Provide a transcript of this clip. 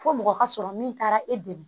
Fo mɔgɔ ka sɔrɔ min taara e dɛmɛ